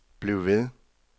bliv ved